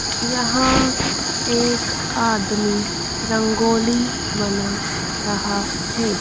यहां एक आदमी रंगोली बना रहा है।